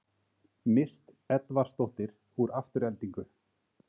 Mist Edvarsdóttir úr Aftureldingu